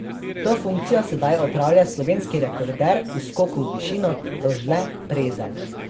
To funkcijo sedaj opravlja slovenski rekorder v skoku v višino Rožle Prezelj.